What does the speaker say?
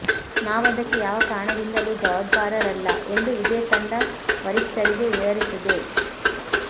ನಾವದಕ್ಕೆ ಯಾವ ಕಾರಣದಿಂದಲೂ ಜವಾಬ್ದಾರರಲ್ಲ ಎಂದು ಇದೇ ತಂಡ ವರಿಷ್ಟರಿಗೆ ವಿವರಿಸಿದೆ